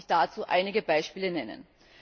Lassen Sie mich dazu einige Beispiele nennen.